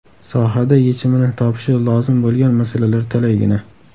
Sohada yechimini topishi lozim bo‘lgan masalalar talaygina.